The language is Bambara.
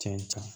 Cɛn